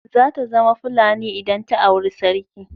Zata zama Fulani idan ta auri sarki.